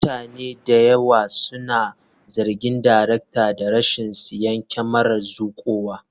Mutane da yawa suna zargin daraktan da rashin siyan kyamarar zuƙowa.